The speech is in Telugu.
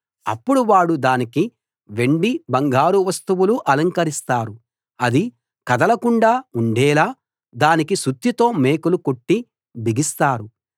అప్పుడు వారు దానికి వెండి బంగారు వస్తువులు అలంకరిస్తారు అది కదలకుండా ఉండేలా దానికి సుత్తితో మేకులు కొట్టి బిగిస్తారు